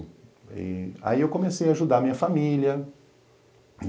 Aí aí eu comecei a ajudar a minha família.